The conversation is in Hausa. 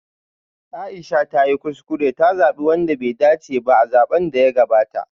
Aisha ta yi kuskure ta zabi wanda bai dace ba a zaben da ya gabata